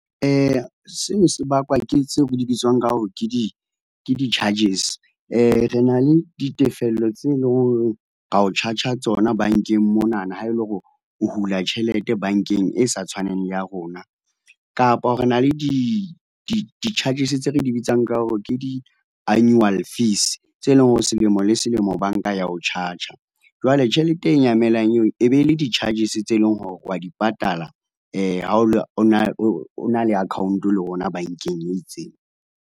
seno se bakwa ke seo re di bitswang ka hore ke di ke di charges. Re na le ditefello tse leng hore ra o charger-a tsona bankeng monana ha ele hore o hula tjhelete bankeng e sa tshwaneng le ya rona kapa re na le di di charges tse re di bitsang ka hore ke di annual fees, tse leng hore selemo le selemo bank a ya ho charge-a. Jwale tjhelete e nyamelang eo e be e le di charges tse leng hore wa di patala ha o na o na le account le rona bankeng e itseng.